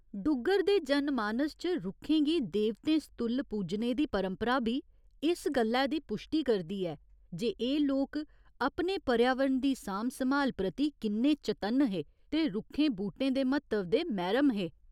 डुग्गर दे जनमानस च रुक्खें गी देवतें सतुल्ल पूजने दी परंपरा बी इस गल्लै दी पुश्टी करदी ऐ जे एह् लोक अपने पर्यावरण दी सांभ सम्हाल प्रति किन्ने चतन्न हे ते रुक्खें बूह्टें दे म्हत्तव दे मैह्‌रम हे।